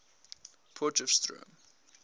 potchefstroom